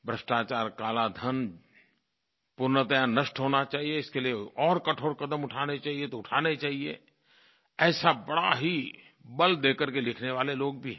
भ्रष्टाचार काला धन पूर्णतः नष्ट होना चाहिये इसके लिए और कठोर कदम उठाने चाहिये तो उठाने चाहिये ऐसा बड़ा ही बल दे करके लिखने वाले लोग भी हैं